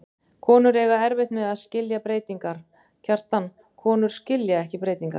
Konur eiga erfitt með að skilja breytingar, Kjartan, konur skilja ekki breytingar.